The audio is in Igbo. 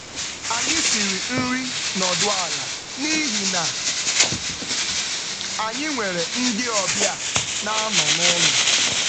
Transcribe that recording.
Anyị siri nri nọdụ ala n’ihi na anyị nwere ndị ọbịa na-anọ n’ụlọ.